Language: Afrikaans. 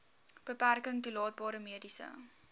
beperking toelaatbare mediese